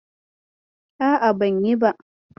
A'a, ban yi ba.